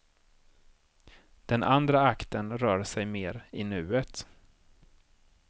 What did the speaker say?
Den andra akten rör sig mer i nuet.